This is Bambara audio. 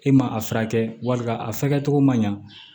E ma a furakɛ a fɛkɛcogo man ɲa